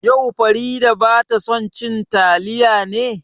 Yau Farida bata son cin taliya ne?